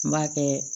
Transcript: N b'a kɛ